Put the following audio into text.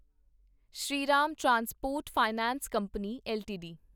Shriram transport finance company LTD